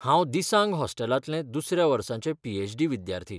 हांव दिसांग हॉस्टेलांतलें दुसऱ्या वर्साचें पी.एच.डी. विद्यार्थी.